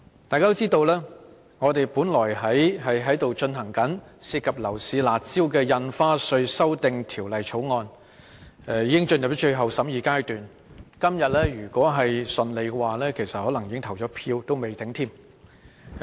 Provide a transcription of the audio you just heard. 大家都知道，我們處理這項涉及樓市"辣招"的《2017年印花稅條例草案》，已經進入最後審議階段，今天如順利便可能已經進行表決。